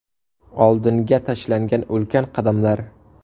Oldinga tashlangan ulkan qadamlar.